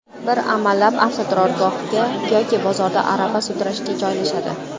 Bir amallab avtoturargohga yoki bozorda arava sudrashga joylashadi.